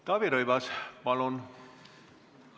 Taavi Rõivas, palun!